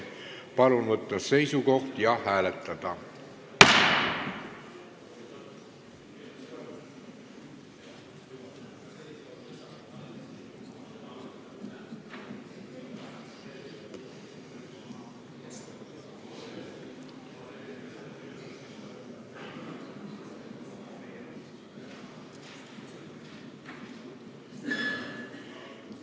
Palun võtta seisukoht ja hääletada!